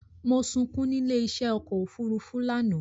Mo sunkún nílé í ṣé ọkọ òfúrúúfú lánàá